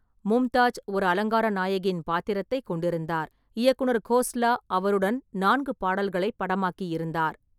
மும்தாஜ் ஒரு அலங்கார நாயகியின் பாத்திரத்தைக் கொண்டிருந்தார், இயக்குனர் கோஸ்லா அவருடன் நான்கு பாடல்களைப் படமாக்கியிருந்தார்.